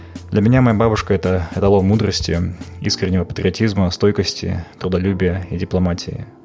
для меня моя бабушка это эталон мудрости искреннего патриотизма стойкости трудолюбия и дипломатия